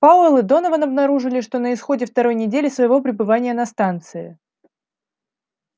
пауэлл и донован обнаружили что на исходе второй недели своего пребывания на станции